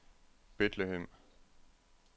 Bethlehem